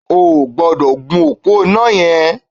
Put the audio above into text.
O ò gbọ́dọ̀ gun òpó iná yẹn!